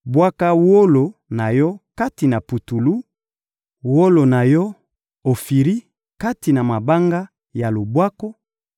Bwaka wolo na yo kati na putulu, wolo na yo ya Ofiri kati na mabanga ya lubwaku;